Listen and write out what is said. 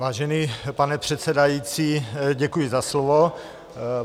Vážený pane předsedající, děkuji za slovo.